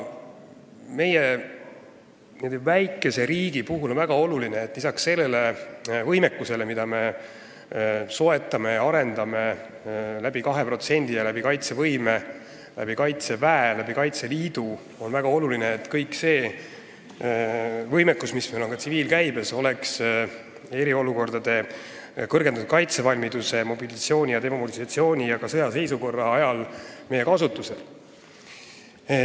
Meie väikeses riigis on väga tähtis, et lisaks sellele võimekusele, mille soetamise ja arendamise aluseks on 2% SKT-st, on kaitsevõimele, Kaitseväele ja Kaitseliidule väga oluline, et kogu see võimekus, mis on ka tsiviilkäibes, oleks eriolukordade ajal, kui on kõrgendatud kaitsevalmidus, toimub mobilisatsioon ja demobilisatsioon, ning ka sõjaseisukorra ajal meie kasutuses.